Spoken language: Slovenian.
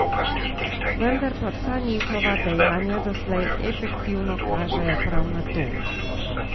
Vendar pa vsa njihova dejanja doslej efektivno kažejo prav na to.